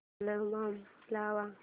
album लाव